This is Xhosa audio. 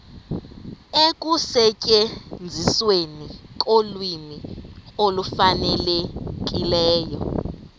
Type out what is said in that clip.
ekusetyenzisweni kolwimi olufanelekileyo